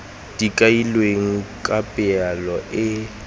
di kailweng ka palo e